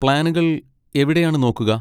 പ്ലാനുകൾ എവിടെയാണ് നോക്കുക?